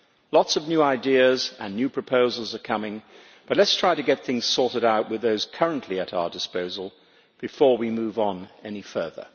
Lots of new ideas and new proposals are coming, but let us try to get things sorted out with those currently at our disposal before we move on any further.